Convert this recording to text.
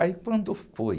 Aí quando foi...